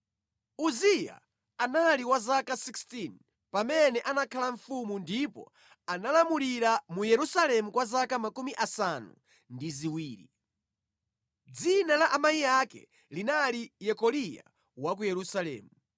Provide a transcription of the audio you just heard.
Uziya anali wa zaka 16 pamene anakhala mfumu ndipo analamulira mu Yerusalemu kwa zaka 70. Dzina la amayi ake linali Yekoliya wa ku Yerusalemu.